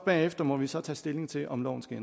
bagefter må vi så tage stilling til om loven skal